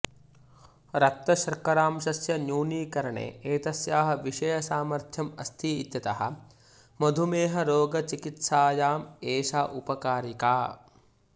रक्तशर्करांशस्य न्यूनीकरणे एतस्याः विशेषसामर्थ्यम् अस्ति इत्यतः मधुमेहरोगचिकित्सायाम् एषा उपकारिका